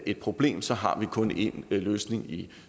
et problem så har man kun én løsning i